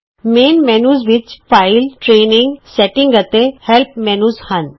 ਮੁੱਖ ਮੈਨਯੂ ਵਿੱਚ file training setting ਅਤੇ ਹੈਲ੍ਪ ਮੈਨਯੂ ਹਨ